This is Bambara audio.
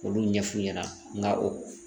Olu ɲɛf'u ɲɛna nka o